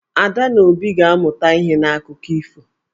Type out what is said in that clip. Ada na Obi ga-amụta ihe n'akụkọ ifo.